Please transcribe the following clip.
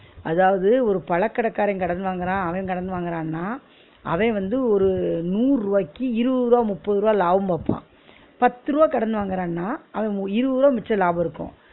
அதாவது ஒரு பழகடக்காரன் கடன் வாங்குறான் அவன் கடன் வாங்குறான்னா, அவேன் வந்து ஒரு நூறு ருவாயிக்கு இருவது ருவா முப்பது ருவா லாபம் பாப்பான் பத்து ருவா கடன் வாங்குறானா அவன் இருபது ருவா மிச்ச லாபமிருக்கும்